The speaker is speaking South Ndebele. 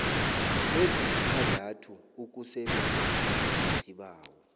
ezisithandathu ukusebenzana nesibawo